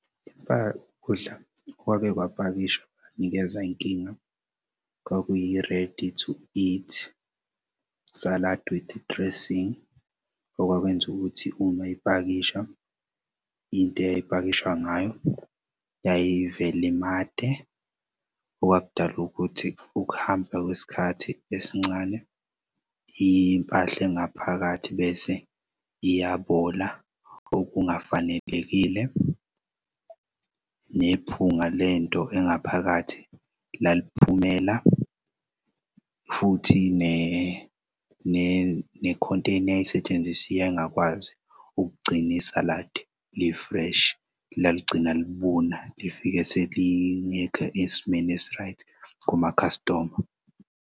Ukudla okwake kwapakishwa kunikeza inkinga, kwakuyi-ready to eat salad with i-dressing okwakwenza ukuthi uma ipakisha into eyayipakisha ngayo yayivele imante, okwakudala ukuthi ukuhamba kwesikhathi esincane impahl'engaphakathi bese iyabola okungafanelekile. Nephunga lento engaphakathi laliphumela futhi ne-container eyayisetshenzisiwe yayingakwazi ugcin'i-salad li-fresh, laligcina libuna lifike selingekh'esimeni esi-right kuma-customer.